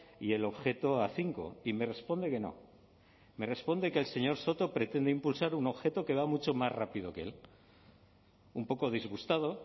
y el objeto a cinco y me responde que no me responde que el señor soto pretende impulsar un objeto que va mucho más rápido que él un poco disgustado